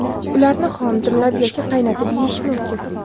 Ularni xom, dimlab yoki qaynatib yeyish mumkin.